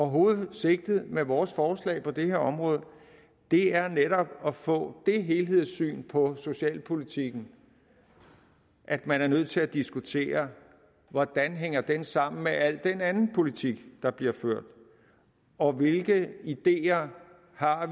hovedsigtet med vores forslag på det her område er netop at få det helhedssyn på socialpolitikken at man er nødt til at diskutere hvordan den hænger sammen med al den anden politik der bliver ført og hvilke ideer